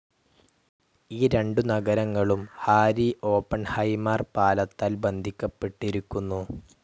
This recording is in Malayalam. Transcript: ഈ രണ്ടു നഗരങ്ങളും ഹാരി ഓപ്പൺഹൈമാർ പാലത്താൽ ബന്ധിക്കപ്പെട്ടിരിക്കുന്നു.